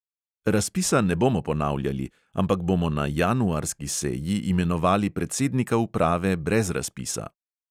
Razpisa ne bomo ponavljali, ampak bomo na januarski seji imenovali predsednika uprave brez razpisa.